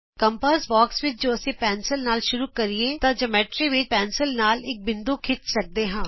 compass box ਵਿਚ ਜੇ ਅਸੀਂ ਪੈਨਸਿਲ ਨਾਲ ਸ਼ੁਰੂ ਕਰੀਏ ਤਾਂ ਜਿਓਮੈਟਰੀ ਵਿਚ ਪੈਨਸਿਲ ਨਾਲ ਇਕ ਬਿੰਦੂ ਖਿੱਚ ਸਕਦੇ ਹਾਂ